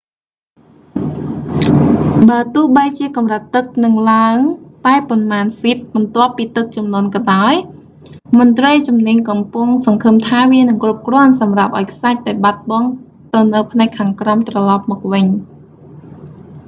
បើទោះបីជាកម្រិតទឹកនឹងឡើងតែប៉ុន្មានហ្វីតបន្ទាប់ពីទឹកជំនន់ក៏ដោយ មន្ត្រីជំនាញកំពុងសង្ឃឹមថា វានឹងគ្រប់គ្រាន់សម្រាប់ឱ្យខ្សាច់ដែលបាត់បង់ទៅនៅផ្នែកខាងក្រោមត្រឡប់មកវិញ